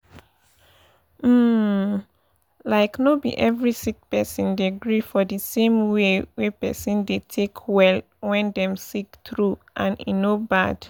umlike no be every sick person dey gree for d same way wey pesin dey take well wen dem sick true and e no bad.